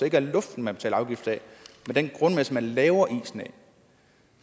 ikke er luften man betaler afgift af men den grundmasse man laver isen af